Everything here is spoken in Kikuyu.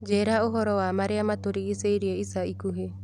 njĩĩra ũhoro wa marĩa matũrigicĩirie ica ikuhĩ